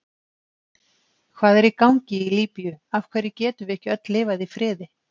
Hvað er í gangi í Líbíu, af hverju getum við ekki öll lifað í friði?